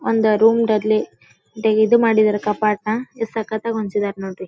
ಒಂದ್ ರೂಮ್ ಡಲ್ಲಿ ಡೇ ಇದ್ ಮಾಡಿದರೆ ಕಪಾಟ ಯೆಸ್ಸಕ್ತಾಗಿ ಹೊಂದಸಿದರೆ ನೋಡ್ರಿ .